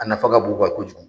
A nafa ka bon u kan kojugu